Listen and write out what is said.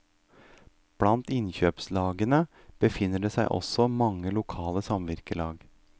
Blant innkjøpslagene befinner det seg også mange lokale samvirkelag.